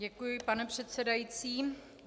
Děkuji, pane předsedající.